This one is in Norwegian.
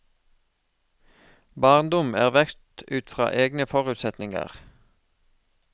Barndom er vekst ut fra egne forutsetninger.